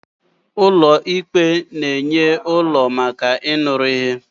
ụlọ ikpe na-enye ụlọ maka ịnụrụ ihe